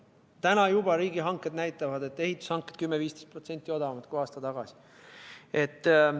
Täna juba riigihanked näitavad, et ehitushanked on 10–15% odavamad kui aasta tagasi.